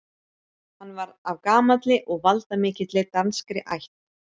Hann var af gamalli og valdamikilli danskri ætt.